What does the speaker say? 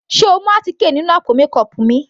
Sé o mú àtíkè nínú àpò mékọọpù mi.